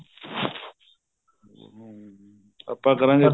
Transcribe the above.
ਹਮ ਆਪਾਂ ਕਰਾਗੇ